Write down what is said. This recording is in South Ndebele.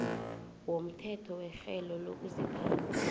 womthetho werhelo lokuziphatha